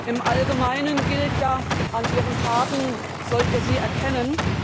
Im Allgemeinen gilt ja An ihren Taten sollt ihr sie erkennen.